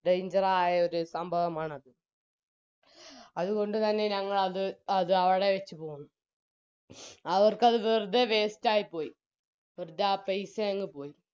danger ആയ ഒരു സംഭവമാണത് അത്കൊണ്ട് തന്നെ ഞങ്ങളത് അവിടെ വെച് പോന്നു അവർക്കത് വെറുതെ waste ആയിപോയി വെറുതെ ആ പൈസ അങ്ങ് പോയി